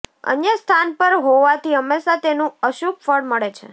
અન્ય સ્થાન પર હોવાથી હંમેશાં તેનું અશુભ ફળ મળે છે